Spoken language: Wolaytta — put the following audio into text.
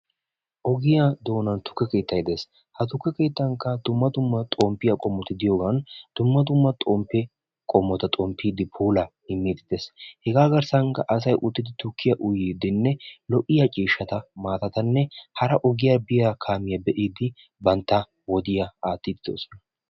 ogiyani tukke keettay deessi hagnika dumma dumma xompiyaa qomotti doossona hega gidonika assati uttidi tukiya uyidi kaamiya ogiyaa xeelidi doosona.